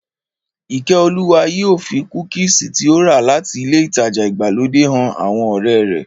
Ìkẹ́olúwa yóò fi kúkìsì tí ó rà láti ilé ìtajà ìgbàlódé han àwọn ọ̀rẹ́ rẹ̀